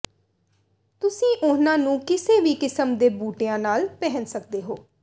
ਤੁਸੀਂ ਉਨ੍ਹਾਂ ਨੂੰ ਕਿਸੇ ਵੀ ਕਿਸਮ ਦੇ ਬੂਟਿਆਂ ਨਾਲ ਪਹਿਨ ਸਕਦੇ ਹੋ